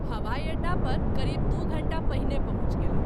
हवाई अड्डा पर क़रीब दू धंटा पहिने पहुँच गेलहुँ।